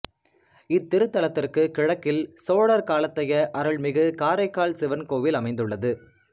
இத்திருத்தலத்திற்கு கிழக்கில் சோழர் காலத்தைய அருள்மிகு காரைக்காற் சிவன்கோயில் அமைந்துள்ளது